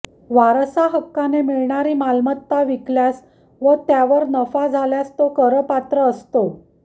वारसाहक्काने मिळणारी मालमत्ता विकल्यास व त्यावर नफा झाल्यास तो करपात्र असतो